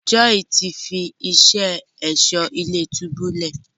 Joy tí fí iṣé Ẹ̀ṣọ́ ilé-túbú lẹ.